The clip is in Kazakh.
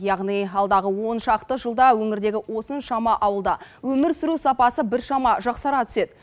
яғни алдағы оншақты жылда өңірдегі осыншама ауылда өмір сүру сапасы біршама жақсара түседі